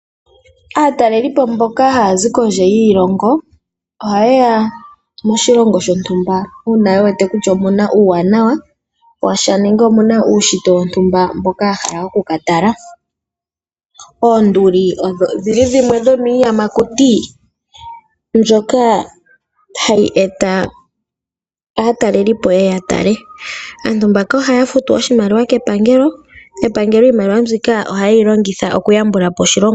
Aatalelipo mboka haya zi kondje yiilongo ohaye ya moshilongo shontumba uuna ye wete kutya omuna uuwanawa wa sha nenge omu na uunshitwe wontumba mboka ya hala okukatala. Oonduli odho dhimwe dhomiiyamakuti mbyoka hayi eta aatalelipo ye ye ya tale, aantu mbaka ohaya futu oshimaliwa kepangelo nepangelo iimaliwa mbika ohaye yi longitha oku yambula po oshilongo.